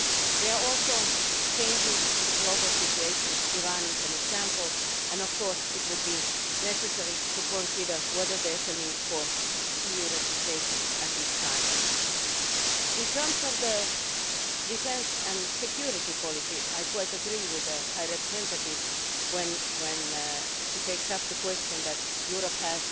They are also changes in the global situation Iran is an example and of course it will be necessary to consider whether there is a need for EU representation at this time. In terms of defence and security policy, I quite agree with the High Representative when she takes up the question that Europe